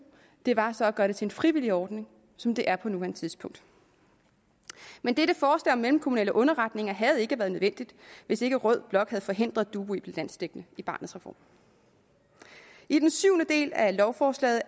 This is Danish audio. var så at gøre det til en frivillig ordning som det er på nuværende tidspunkt men dette forslag om mellemkommunale underretninger havde ikke været nødvendigt hvis ikke rød blok havde forhindret dubu i at blive landsdækkende i barnets reform i den syvende del af lovforslaget